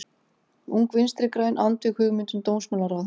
Ung vinstri græn andvíg hugmyndum dómsmálaráðherra